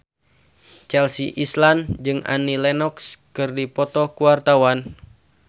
Chelsea Islan jeung Annie Lenox keur dipoto ku wartawan